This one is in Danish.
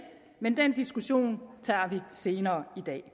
men den diskussion tager vi senere i dag